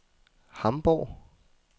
Hamborg